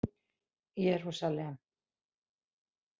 Jerúsalem